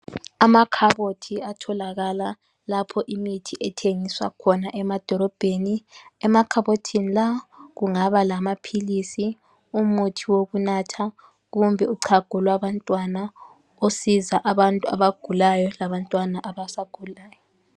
Amakhabothi atholakala lapho imithi ethengiswa khona emadorobheni. Emakhabothini lawa kungabalamaphilisi, umuthi wokunatha, kumbe uchago lwabantwana osiza abantu abagulayo labantwana abasakhulayo.